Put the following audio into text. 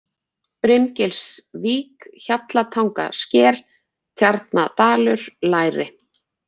Brimgilsvík, Hjallatangasker, Tjarnadalur, Læri